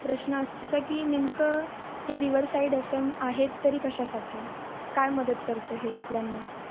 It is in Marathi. प्रश्न अस की नेमक ही rever side असण आहे तरी कश्या साठी? काय मदत करते ते आपल्यान?